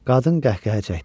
Qadın qəhqəhə çəkdi.